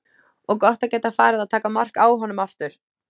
Og gott að geta farið að taka mark á honum aftur.